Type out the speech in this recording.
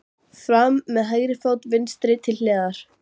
Fram með hægri fót. vinstri til hliðar.